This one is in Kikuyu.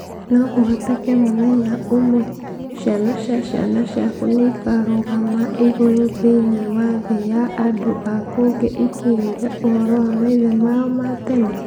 No kũhoteke mũthenya ũmwe, ciana cia ciana ciaku nĩ ikarũgama igũrũ thĩ-inĩ wa thĩ ya andũ a kũngĩ ikĩĩyũria ũhoro wa maithe mao ma tene?